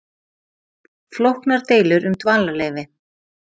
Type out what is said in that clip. Flóknar deilur um dvalarleyfi